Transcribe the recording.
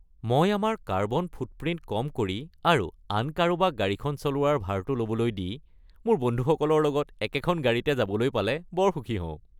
মই আমাৰ carbon footprint কম কৰি আৰু আন কাৰোবাক গাড়ীখন চলোৱাৰ ভাৰটো ল’বলৈ দি মোৰ বন্ধুসকলৰ লগত একেখন গাড়ীতে যাবলৈ পালে বৰ সুখী হওঁ।